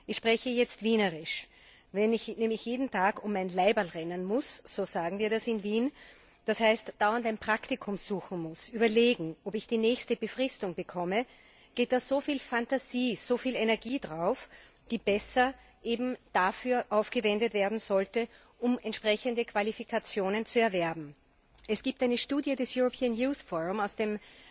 Ich spreche jetzt Wienerisch Wenn ich nämlich jeden Tag um ein Laiberl rennen muss so sagen wir das in Wien das heißt dauernd ein Praktikum suchen muss, überlegen, ob ich den nächsten befristeten Arbeitsvertrag bekomme, geht dabei so viel Phantasie und Energie drauf, die besser eben dafür aufgewendet werden sollte, entsprechende Qualifikationen zu erwerben. Es gibt eine Studie des European Youth Forum aus dem